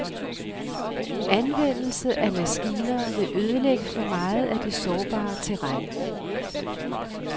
Anvendelse af maskiner vil ødelægge for meget af det sårbare terræn.